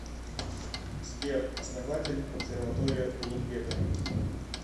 сбер основатель обсерватория улугбека